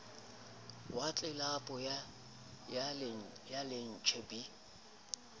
wa tlelapo ya lantjhe b